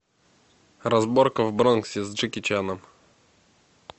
разборка в бронксе с джеки чаном